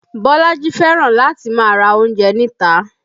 Bolaji fẹ́ràn láti máa ra oúnjẹ níta